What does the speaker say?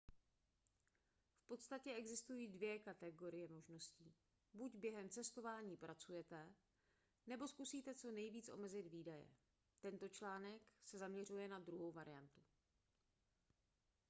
v podstatě existují dvě kategorie možností buď během cestování pracujete nebo zkusíte co nejvíc omezit výdaje tento článek se zaměřuje na druhou skupinu